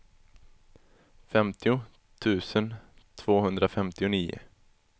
femtio tusen tvåhundrafemtionio